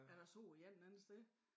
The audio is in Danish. At jeg så de varet en anden sted